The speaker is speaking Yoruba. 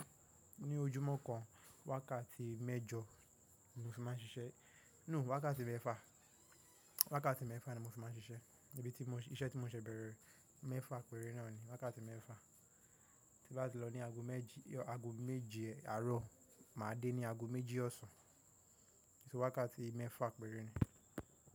Ní ojúmọ́ kan, wákàtí mẹ́jọ mo fi máa ń ṣiṣẹ́. Wákàtí mẹ́fà ni mo fi máa ń ṣiṣẹ́. Iṣẹ́ tí mò ń ṣe bẹ̀rẹ̀, mẹ́fà péré náà ni. Wákàtí mẹ́fà tí bá ti lọ ní ago méje àárọ̀, máa dé ní ago méjì ọ̀sán. So wákàtí mẹ́fà péré ni.